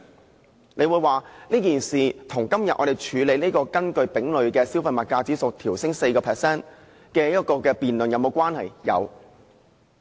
也許有人會問，這件事與今天我們處理這項根據丙類消費物價指數調升 4% 收費的辯論是否有關？